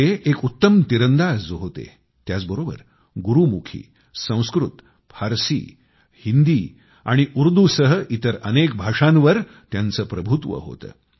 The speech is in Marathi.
ते एक उत्तम तिरंदाज होते त्याचबरोबर गुरुमुखी संस्कृत फारशी हिंदी आणि उर्दूसह इतर अनेक भाषांवर त्यांचे प्रभुत्व होते